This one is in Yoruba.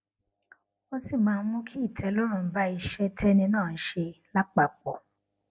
ó sì máa ń mú kí ìtẹlọrun bá iṣé téni náà ń ṣe lápapò